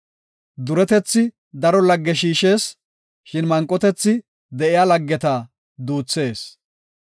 Duretethi daro lagge shiishees; shin manqotethi de7iya laggeta duuthees.